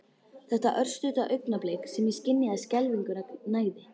Þetta örstutta augnablik sem ég skynjaði skelfinguna nægði.